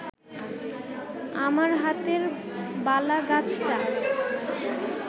আমার হাতের বালাগাছটা